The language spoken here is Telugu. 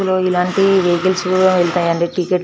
లో ఇలాంటి వాహికల్స్ కూడా వేల్తాయండి టిక్కెట్టు --